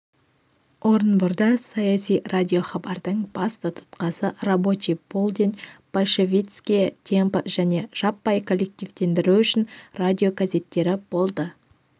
орынборда саяси радиохабардың басты тұтқасы рабочий полдень большевистские темпы және жаппай коллективтендіру үшін радиогазеттері болды